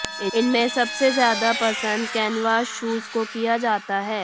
इनमें सबसे ज्यादा पसंद कैनवास शूज को किया जाता है